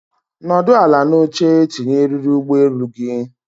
Nọdụ ala n'oche tinye eriri ụgbọelu gị!